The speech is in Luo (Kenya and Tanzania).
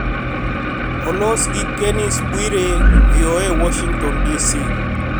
Olos gi Kennes Bwire, VOA, Washington DC